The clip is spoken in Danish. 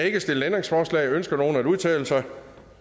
ikke stillet ændringsforslag ønsker nogen at udtale sig